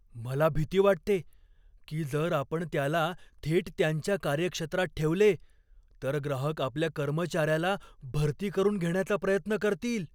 मला भीती वाटते की जर आपण त्याला थेट त्यांच्या कार्यक्षेत्रात ठेवले तर ग्राहक आपल्या कर्मचार्याला भरती करून घेण्याचा प्रयत्न करतील.